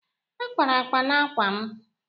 a kpara akpa n'ákwà m